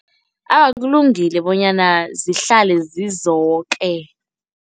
Awa, kulungile bonyana zihlale zizoke.